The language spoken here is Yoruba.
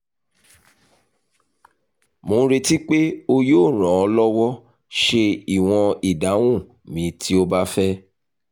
mo nireti pe o yoo ran ọ lọwọ ṣe iwọn idahun mi ti o ba fẹ